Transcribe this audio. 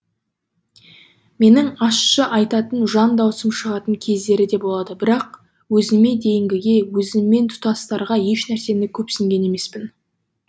менің ащы айтатын жан даусым шығатын кездері де болады бірақ өзіме дейінгіге өзіммен тұстастарға еш нәрсені көпсінген емеспін